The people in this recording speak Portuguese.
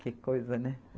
Que coisa, né?